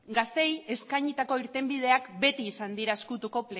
gazteei eskainitako irtenbideak beti izan dira ezkutuko